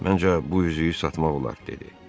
Məncə bu üzüyü satmaq olar, dedi.